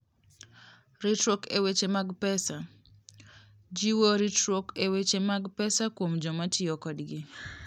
Ritruok e Weche mag Pesa: Jiwo ritruok e weche mag pesa kuom joma tiyo kodgi.